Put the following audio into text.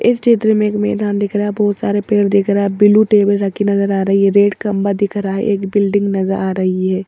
इस चित्र में एक मैदान दिख रहा है बहुत सारे पेर दिख रहा है ब्लू टेबल रखी नजर आ रही है रेड खंभा दिख रहा है एक बिल्डिंग नजर आ रही है।